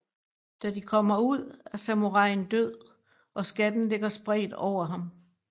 Da de kommer ud er samuraien død og skatten ligger spredt over ham